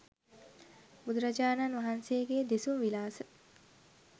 බුදුරජාණන් වහන්සේගේ දෙසුම් විලාස